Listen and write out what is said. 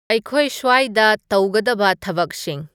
ꯑꯩꯈꯣꯏ ꯁ꯭ꯋꯥꯏꯗ ꯇꯧꯒꯗꯕ ꯊꯕꯛꯁꯤꯡ